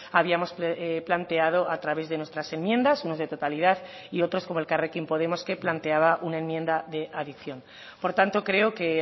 habíamos planteado a través de nuestras enmiendas unos de totalidad y otros como elkarrekin podemos que planteaba una enmienda de adición por tanto creo que